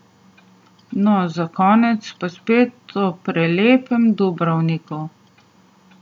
No, za konec pa spet o prelepem Dubrovniku.